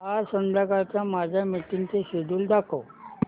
आज संध्याकाळच्या माझ्या मीटिंग्सचे शेड्यूल दाखव